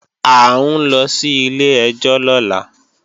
À ń lọ sí ilé-ẹjọ́ lọ́la